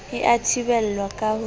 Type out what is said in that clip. e a thibelwa ka ho